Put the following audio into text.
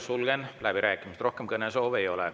Sulgen läbirääkimised, rohkem kõnesoove ei ole.